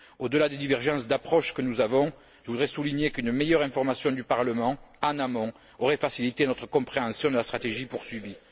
Au delà des divergences d'approche que nous avons, je voudrais souligner qu'une meilleure information du Parlement en amont aurait facilité notre compréhension de la stratégie poursuivie.